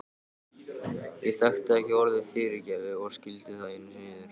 Ég þekkti ekki orðið fyrirgefðu og skildi það enn síður.